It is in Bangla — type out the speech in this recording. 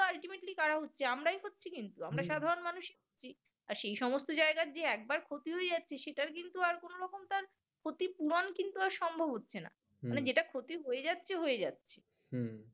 কারা হচ্ছে আমরাই হচ্ছি কিন্তু আমরা সাধারণ মানুষ আর সে সমস্ত জায়গা থেকে একবার ক্ষতি হয়ে যাচ্ছে সেটার কিন্তু ক্ষতিপূরণ কিন্তু আর সম্ভব হচ্ছে না এটা ক্ষতি হয়ে যাচ্ছে হয়ে যাচ্ছে